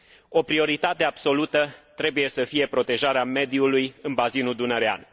O prioritate absolută trebuie să fie protejarea mediului în bazinul dunărean.